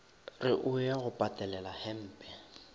re o ya go patelelahempe